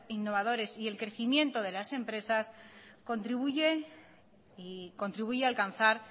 innovadores y el crecimiento de las empresas contribuye alcanzar